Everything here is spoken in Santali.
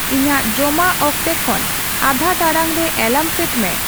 ᱤᱧᱟᱹᱜ ᱡᱚᱢᱟᱜ ᱚᱠᱛᱮ ᱠᱷᱚᱱ ᱟᱫᱷᱟ ᱴᱟᱲᱟᱝ ᱨᱮ ᱮᱞᱟᱨᱢ ᱥᱮᱴ ᱢᱮ